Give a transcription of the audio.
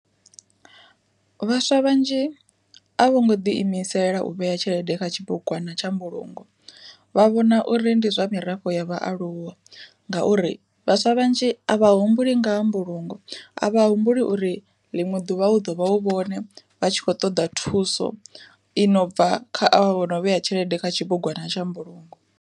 Vhaswa vhanzhi a vho ngo ḓi imisela u vhea tshelede kha tshibugwana tsha mbulungo, vha vhona uri ndi zwa mirafho ya vhaaluwa ngauri vhaswa vhanzhi a vha humbuli ngaha mbulungo a vha humbuli uri ḽiṅwe ḓuvha hu ḓo vha hu vhone vha tshi khou ṱoḓa thuso inobva kha avha vho no vhea tshelede kha tshibugwana tsha mbulungo.